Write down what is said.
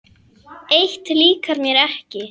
Eitt líkar mér ekki.